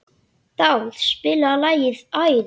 Dáð, spilaðu lagið „Æði“.